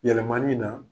Yɛlɛmani na